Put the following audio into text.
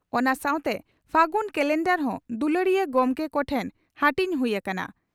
ᱚᱱᱟ ᱥᱟᱣᱛᱮ ᱯᱷᱟᱹᱜᱩᱱ ᱠᱟᱞᱮᱱᱰᱟᱨ ᱦᱚᱸ ᱫᱩᱞᱟᱹᱲᱤᱭᱟᱹ ᱜᱚᱢᱠᱮ ᱠᱚᱴᱷᱮᱱ ᱦᱟᱹᱴᱤᱧ ᱦᱩᱭ ᱟᱠᱟᱱᱟ ᱾